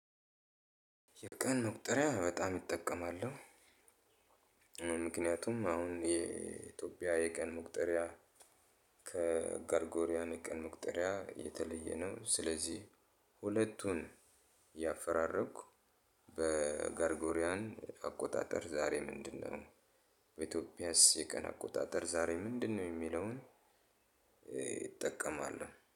የቀን መቁጠሪያ በጣም እጠቀማለሁ። ምክንያቱም አሁን የኢትዮጵያ የቀን መቁጠሪያ ጥሪያ ከገርጎሪያን የቀን ሙቅጥሪያ የተለየ ነው። ስለዚህ ሁለቱን ያፈራረኩ በጋርጎሪያን አቆጣጠር ዛሬ ምንድነው? በኢትዮጵያስ የቀን አቆጣጠር ዛሬ ምንድነው የሚለውን እ እጠቀማለሁ